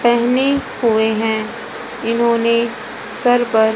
पहने हुए हैं इन्होंने सर पर।